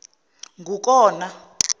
ngukona